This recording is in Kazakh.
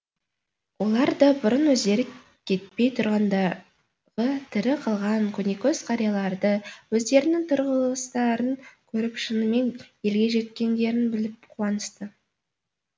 олар да бұрын өздері кетпей тұрғандағы тірі қалған көнекөз қарияларды өздерінің тұрғыластарын көріп шынымен елге жеткендерін біліп қуанысты